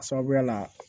A sababuya la